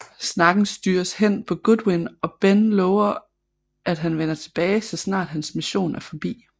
Snakken styres hen på Goodwin og Ben lover at han vender tilbage så snart hans mission er forbi